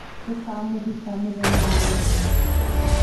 Tũkamũthika mũthenya ũrĩkũ